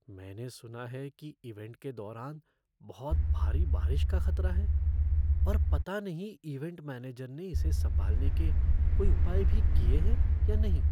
मैंने सुना है कि इवेंट के दौरान बहुत भारी बारिश का खतरा है और पता नहीं इवेंट मैनेजर ने इसे सँभालने के कोई उपाय भी किए हैं या नहीं।